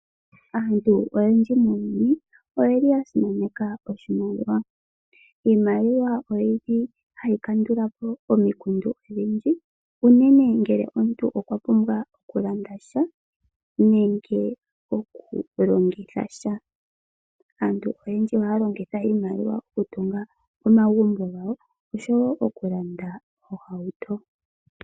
Aantu oyendji muuyuni oya simaneka oshimaliwa. Iimaliwa ohayi kandula po omikundu odhindji unene ngele omuntu okwa pumbwa okulanda sha nenge okulongitha sha. Aantu oyendji ohaya longitha iimaliwa okutunga omagumbo gawo, oshowo okulanda ohauto.